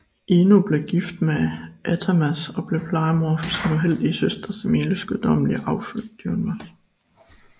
Ino blev gift med Athamas og blev plejemor for sin uheldige søster Semeles gudommelige afkom Dionysos